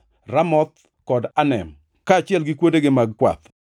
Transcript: Ramoth kod Anem, kaachiel gi kuondegi mag kwath,